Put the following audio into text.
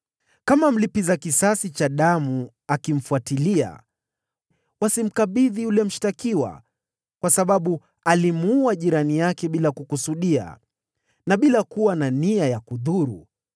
Kama mlipiza kisasi wa damu akimfuatilia, wasimkabidhi yule mshtakiwa, kwa sababu alimuua jirani yake bila kukusudia, na bila kuwa na nia ya kudhuru.